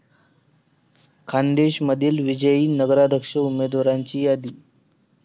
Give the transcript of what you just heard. खान्देशमधील विजयी नगराध्यक्ष उमदेवाराची यादी